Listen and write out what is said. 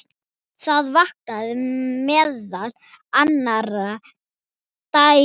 Það vakning meðal annarra deilda.